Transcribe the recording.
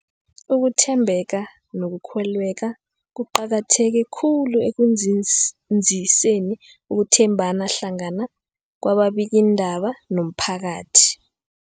Ukuthembeka nokukholweka kuqakatheke khulu ekunzinziseni ukuthembana hlangana kwababikiindaba nomphakathi.